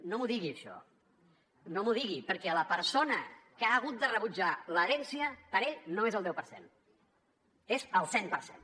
no m’ho digui això perquè la persona que ha hagut de rebutjar l’herència per ell no és el deu per cent és el cent per cent